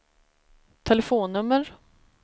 telefonnummer